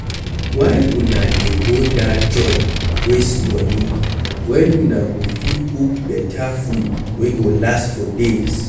Why una dey go dat joint waste money wen una go fit cook beta food wey go last for days